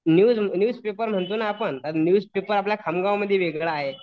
News news paper म्हणतो ना आपण तर न्यूज पेपर आपल्या खामगावमध्ये वेगळं आहे.